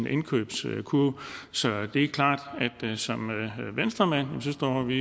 indkøbskurven så det er klart at som venstremand står vi